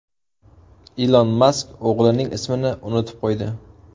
Ilon Mask o‘g‘lining ismini unutib qo‘ydi .